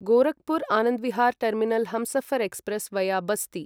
Gorakhpur Anand Vihar terminal Humsafar express via Basti